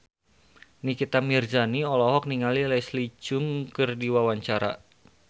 Nikita Mirzani olohok ningali Leslie Cheung keur diwawancara